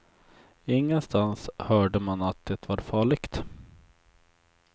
Ingenstans hörde man att det var farligt.